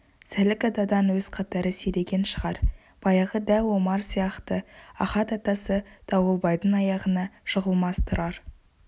сәлік атадан өз қатары сиреген шығар баяғы дәу омар сияқты ахат атасы дауылбайдың аяғына жығылмас тұрар